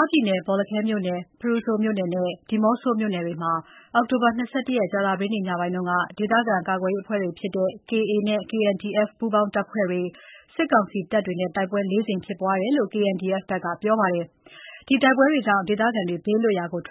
ားပြည်နယ် ဘောလခဲ၊ ဖရူဆိုနဲ့ ဒီးမော့ဆိုမြို့နယ်တွေမှာ အောက်တိုဘာ ၂၁ ရက် ညနေက KA၊ KNDF ပူးပေါင်းတပ်နဲ့ စစ်ကောင်စီအကြား တိုက်ပွဲ လေးကြိမ်ဖြစ်ပွားခဲ့တယ်လို့ KNDF က ပြောဆိုလိုက်ပါတယ်။ တိုက်ပွဲအခြေအနေကြောင့် ဒေသခံတွေ ထွ